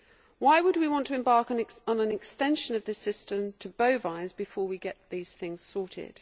Why would we want to embark on an extension of this system to bovines before we get these things sorted?